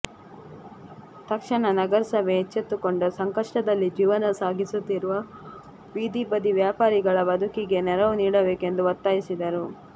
ತಕ್ಷಣ ನಗರಸಭೆ ಎಚ್ಚೆತ್ತುಕೊಂಡು ಸಂಕಷ್ಟದಲ್ಲಿ ಜೀವನ ಸಾಗಿಸುತ್ತಿರುವ ಬೀದಿ ಬದಿ ವ್ಯಾಪಾರಿಗಳ ಬದುಕಿಗೆ ನೆರವು ನೀಡಬೇಕೆಂದು ಒತ್ತಾಯಿಸಿದರು